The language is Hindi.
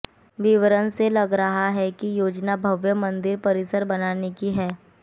विवरण से लग रहा है कि योजना भव्य मंदिर परिसर बनाने की है